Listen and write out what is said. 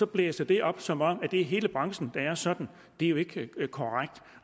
blæser det op som om det er hele branchen der er sådan det er jo ikke korrekt